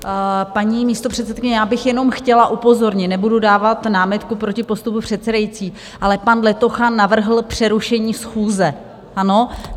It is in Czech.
Paní místopředsedkyně, já bych jenom chtěla upozornit, nebudu dávat námitku proti postupu předsedající, ale pan Letocha navrhl přerušení schůze, ano?